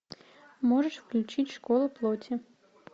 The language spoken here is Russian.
можешь включить школа плоти